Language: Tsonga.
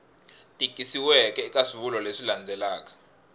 tikisiweke eka swivulwa leswi landzelaka